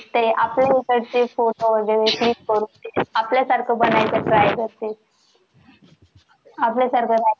ते आपल्या इथे आपल्या सारखे बनायचा try करते. आपल्या सारख